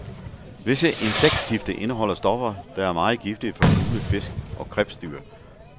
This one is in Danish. Visse insektgifte indeholder stoffer, der er meget giftige for fugle, fisk og krebsdyr.